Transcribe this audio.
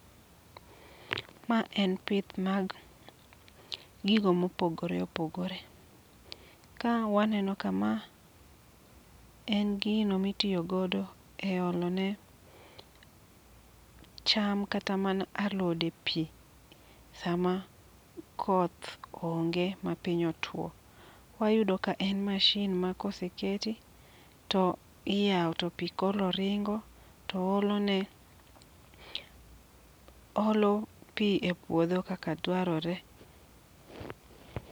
Ma en pith mag gigo mopogore opogore, kawaneno kama en gino mitiyo godo eolone cham kata mana alode pii, sama koth onge mapiny otuo, oyudo ka en machine ma kaoseketi to iyao to pii koro ringo to olone. Oolo pii e puodho kaka dwarore.